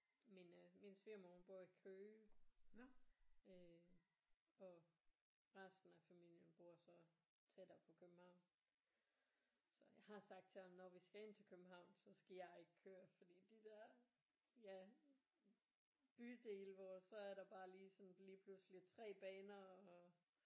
Min øh min svigermor hun bor i Køge øh og resten af familien bor så tættere på København så jeg har sagt til ham når vi skal ind til København så skal jeg ikke køre fordi de der ja bydele hvor så er der bare lige sådan lige pludselig 3 baner og